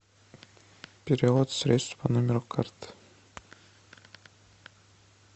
перевод средств по номеру карты